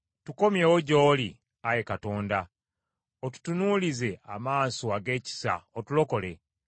Tukomyewo gy’oli, Ayi Katonda, otutunuulize amaaso ag’ekisa, otulokole.